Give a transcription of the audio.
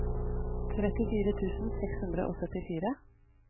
trettifire tusen seks hundre og syttifire